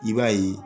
I b'a ye